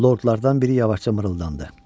Lordlardan biri yavaşca mırıldandı.